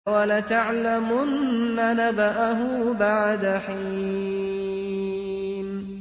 وَلَتَعْلَمُنَّ نَبَأَهُ بَعْدَ حِينٍ